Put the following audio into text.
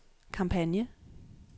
kampagne